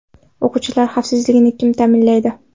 O‘quvchilar xavfsizligini kim ta’minlaydi?